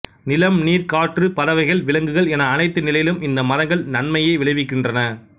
நிலம் நீர் காற்று பறவைகள் விலங்குகள் என அனைத்து நிலையிலும் இந்த மரங்கள் நன்மையையே விளைவிக்கின்றன